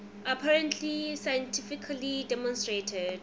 apparently scientifically demonstrated